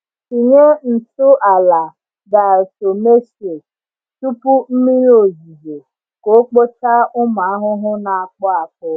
Tinye ntụ ala diatomaceous tupu mmiri ozuzo ka o kpochaa ụmụ ahụhụ na-akpụ akpụ.